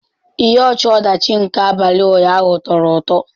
Ihe ọchị-ọdachi nke abalị ụnyaahụ tọrọ ụtọ.